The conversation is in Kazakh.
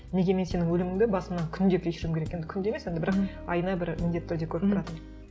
неге мен сенің өліміңді басымнан күнде кешіруім керек енді күнде емес енді бірақ айына бір міндетті түрде көріп тұратынмын